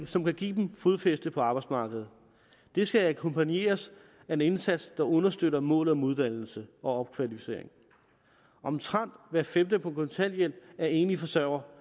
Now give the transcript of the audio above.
som kan give dem fodfæste på arbejdsmarkedet det skal akkompagneres af en indsats der understøtter målet om uddannelse og opkvalificering omtrent hver femte på kontanthjælp er enlige forsørgere